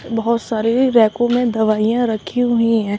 बहुत सारे रैकों में दवाइयां रखी हुई हैं।